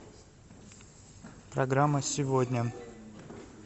программа сегодня